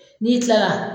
N'i kilala